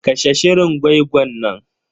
Kashe shirin gwai-gwan nan.